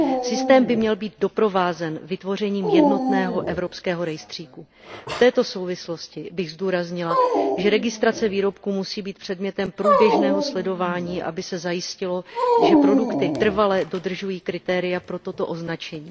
Systém by měl být doprovázen vytvořením jednotného evropského rejstříku. V této souvislosti bych zdůraznila, že registrace výrobků musí být předmětem průběžného sledování, aby se zajistilo, že produkty trvale dodržují kritéria pro toto označení.